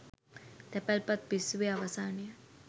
තැපැල්පත් පිස්සුවේ අවසානය